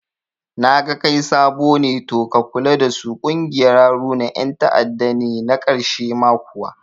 Naga kai sabo ne to ka kula dasu ƙungiyar Haruna yan ta'adda ne na karshe ma kuwa